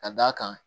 Ka d'a kan